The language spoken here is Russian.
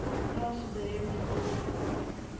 открывается дуэльный клуб